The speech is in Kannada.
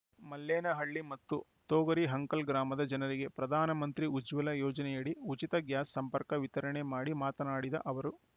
ಮಲ್ಲೇನಹಳ್ಳಿ ಮತ್ತು ತೋಗರಿ ಹಂಕಲ್‌ ಗ್ರಾಮದ ಜನರಿಗೆ ಪ್ರಧಾನ ಮಂತ್ರಿ ಉಜ್ವಲ ಯೋಜನೆಯಡಿ ಉಚಿತ ಗ್ಯಾಸ್‌ ಸಂಪರ್ಕ ವಿತರಣೆ ಮಾಡಿ ಮಾತನಾಡಿದ ಅವರು